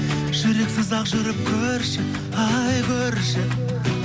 жүрексіз ақ жүріп көрші ай көрші